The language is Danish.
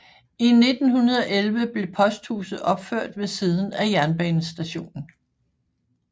I 1911 blev posthuset opført ved siden af jernbanestationen